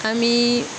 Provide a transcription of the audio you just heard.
An bi